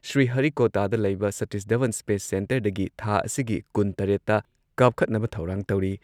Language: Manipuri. ꯁ꯭ꯔꯤꯍꯔꯤꯀꯣꯇꯥꯗ ꯂꯩꯕ ꯁꯇꯤꯁ ꯙꯋꯟ ꯁ꯭ꯄꯦꯁ ꯁꯦꯟꯇꯔꯗꯒꯤ ꯊꯥ ꯑꯁꯤꯒꯤ ꯀꯨꯟꯇꯔꯦꯠꯇ ꯀꯥꯞꯈꯠꯅꯕ ꯊꯧꯔꯥꯡ ꯇꯧꯔꯤ ꯫